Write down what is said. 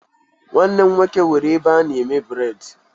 Nwanne m nwoke nwere ebe a na-eme bred